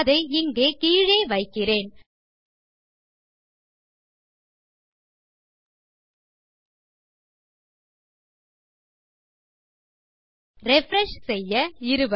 அதை இங்கே கீழே வைக்கிறேன் ரிஃப்ரெஷ் செய்ய